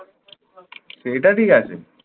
সেটা ঠিক আছে।